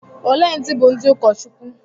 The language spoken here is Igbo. Ole ndị bụ ndị ụkọchukwu?